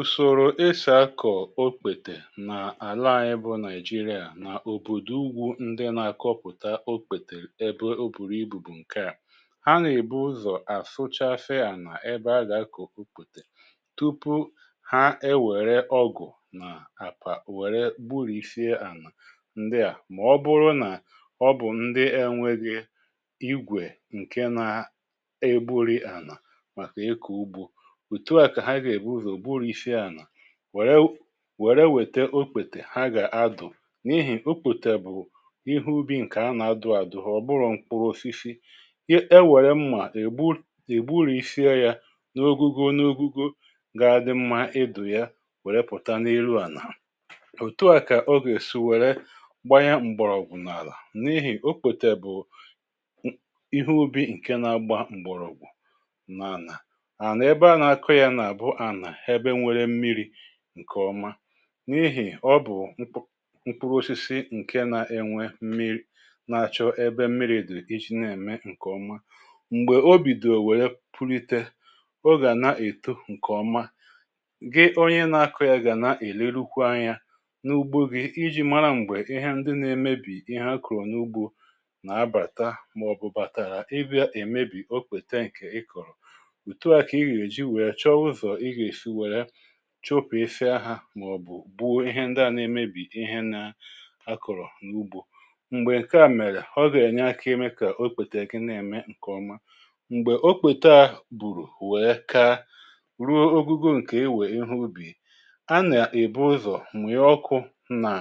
ùsòrò eshà akọ̀ okpètè n’àla ànyị bụ nigeria n’òbòdò ugwù ndị nà-akọpụ̀ta okpètè ebe o bùrù ibù bụ̀ ǹke, à ha nà-èbu ụzọ̀ àsụchasi ànà ebe a gà-akọ̀ okpetè tupu ha ewèrè ọgụ̀ nà àpà wère gburìsie ànà ndị à mà ọ bụrụ nà ọ bụ̀ ndị enwėghi igwè ǹke nȧ egburì ànà màkà ikò ugbȯ otu a ka ha ga ebúzó gbúrisie ànà wère wère wète okpètè ha gà-adụ̀ n’ihì okpétè bụ̀ ihe ubi̇ ǹkè a nà-adụ̀ àdụ̀ ọ̀bụrụ̇ mkpụrụ osisi e wère mmà ègbụrụ isiie yȧ n’ogugo n’ogugo ga-adị̇ mmȧ edù ya wère pụ̀ta n’elu ànà òtuà kà o gèè sụ̀ wère gbanye m̀gbọ̀rọ̀gwụ̀ n’àlà n’ihì okpetè bụ̀ ihe ubi̇ ǹke na-agba m̀gbọ̀rọ̀gwụ̀ nà ànà, ana ebe a na ako ya na bu ana ebe nwere mmiri ǹkèọma n’ihì ọ bụ̀ mkp mkpụrụosisi ǹke na-enwe mmiri̇ na-achọ ebe mmiri̇ dụ̀ iji na-ème ǹkèọma m̀gbè obìdò wère pụlite ọ gàà na-èto ǹkèọma gị onye na-akọ̇ yȧ gàà na-èlerukwa anyȧ n’ugbo gị iji mara m̀gbè ihe ndị na-emebì ihe a kụ̀rụ̀ n’ugbȯ nà-abàta màọ̀bụ̀ bàtàrà ịbịa èmebì okpéte nke ị kọ̀rọ̀ otu a ka i ga eji wee chowa uzo i ga esi were chọpụ̀sịa ha màọ̀bụ̀ gbụo ihe ndi à na-emebì ihe na akọ̀rọ̀ n’ugbo m̀gbè ǹke à mèrè ọ gà-ànyị ya ka ime kà okpètè gi na eme ǹkèọma m̀gbè okpète a bụ̀rụ̀ wee kaa ruo ogugo ǹkè ewè ihe ubì a nà-èbu ụzọ̀ mmui ọkụ nà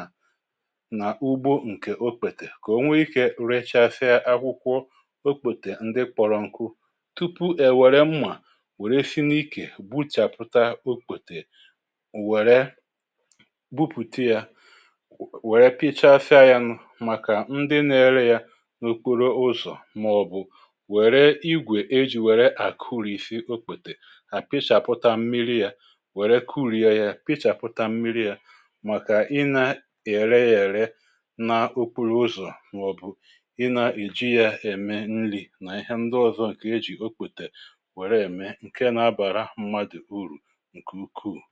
nà ugbo ǹkè okpètè kà o nwee ike recha asịa akwụkwọ okpètè ndị kpọrọ̀ nkụ tupu è wère mmà wère si n’ikè gbuchaputa okpete wèrè bupùte yȧ wèrè pịchaasia ya nụ̇ màkà ndị na-ere yȧ n’okporo ụzọ̀ màọ̀bụ̀ wère igwè ejì wère àkurisi okpetè a pịchàpụta mmiri yȧ wère kuru ya yȧ pịchàpụta mmiri yȧ màkà ị na-ère yȧ ère na okporo ụzọ̀ màọ̀bụ̀ ị nȧ-èji yȧ ème nri̇ nà ihe ndị ọzọ ǹkè ejì okpetè wère ème ǹke na-abàra mmadụ̀ urù nke ukwú